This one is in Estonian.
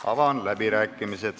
Avan läbirääkimised.